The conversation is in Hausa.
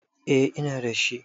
Eh ina da shi.